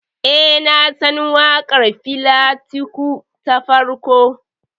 Eh, nasan waƙar Fela Kuti ta farko.